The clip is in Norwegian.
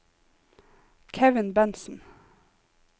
Kevin Bentsen